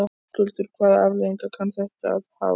Höskuldur: Hvaða afleiðingar kann þetta að hafa?